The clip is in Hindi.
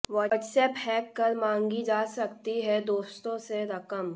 व्हाट्सएप हैक कर मांगी जा सकती है दोस्तों से रकम